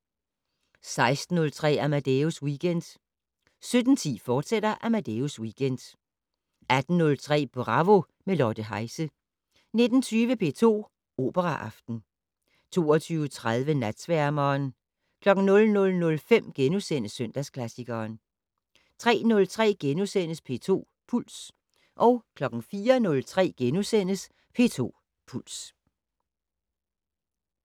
16:03: Amadeus Weekend 17:10: Amadeus Weekend, fortsat 18:03: Bravo - med Lotte Heise 19:20: P2 Operaaften 22:30: Natsværmeren 00:05: Søndagsklassikeren * 03:03: P2 Puls * 04:03: P2 Puls *